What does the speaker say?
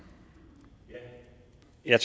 jeg er